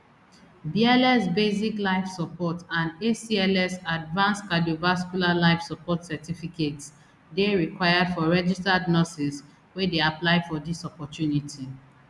bls basic life support and acls advanced cardiovascular life support certificates dey required for registered nurses wey dey apply for dis opportunity